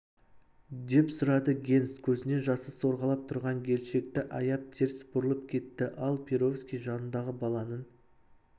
деп сұрады генс көзінен жасы сорғалап тұрған келіншекті аяп теріс бұрылып кетті ал перовский жаныңдағы баланың